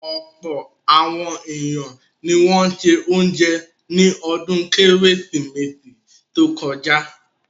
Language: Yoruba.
Ọ̀pọ̀ àwọn ènìyàn ni wọ́n ṣe oúnjẹ ní ọdún Kérésìmesì tó kọjá.